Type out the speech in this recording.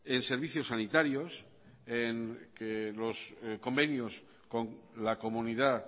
en servicios sanitarios en que los convenios con la comunidad